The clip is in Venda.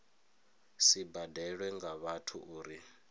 si badelwe nga vhathu uri